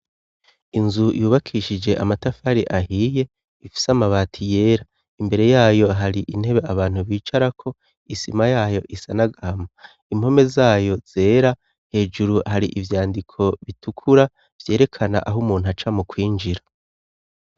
Inzu yubakishije amatafari ahiye ,ifis' amabati yera ,imbere yayo hari intebe abantu bicarako ,isima yayo isima yayo isa n'agahama, impome zayo zera ,hejuru hari ivyandiko bitukura, vyerekana aho umuntu aca mu kwinjira.